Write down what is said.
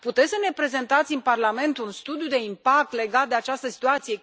Putem să ne prezentați în Parlament un studiu de impact legat de această situație?